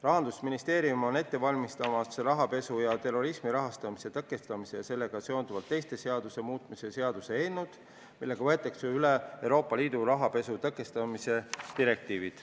Rahandusministeerium on ette valmistamas rahapesu ja terrorismi rahastamise tõkestamise ja sellega seonduvalt teiste seaduste muutmise seaduse eelnõu, millega võetakse üle Euroopa Liidu rahapesu tõkestamise direktiiv.